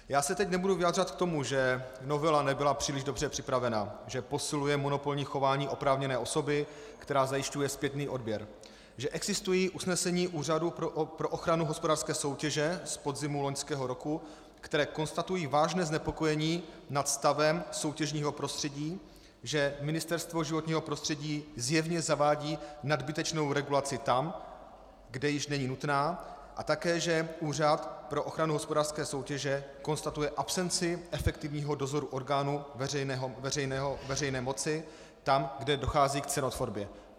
Já se teď nebudu vyjadřovat k tomu, že novela nebyla příliš dobře připravena, že posiluje monopolní chování oprávněné osoby, která zajišťuje zpětný odběr, že existují usnesení Úřadu pro ochranu hospodářské soutěže z podzimu loňského roku, která konstatují vážné znepokojení nad stavem soutěžního prostředí, že Ministerstvo životního prostředí zjevně zavádí nadbytečnou regulaci tam, kde již není nutná, a také že Úřad pro ochranu hospodářské soutěže konstatuje absenci efektivního dozoru orgánů veřejné moci tam, kde dochází k cenotvorbě.